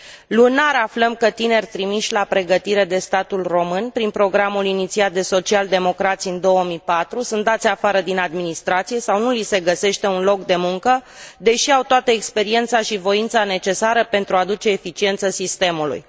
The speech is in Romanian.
Lunar aflăm că tineri trimiși la pregătire de statul român, prin programul inițiat de social democrați în 2004, sunt dați afară din administrație sau nu li se găsește un loc de muncă, deși au toată experiența și voința necesară pentru a aduce eficiență sistemului.